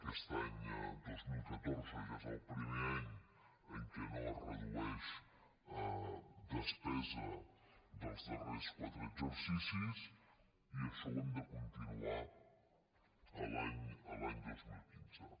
aquest any dos mil catorze ja és el primer any en què no es redueix despesa dels darrers quatre exercicis i això ho hem de continuar l’any dos mil quinze